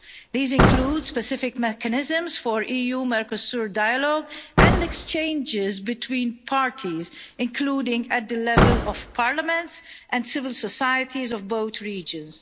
These include specific mechanisms for EU Mercosur dialogue and exchanges between parties, including at the level of parliaments and civil societies of both regions.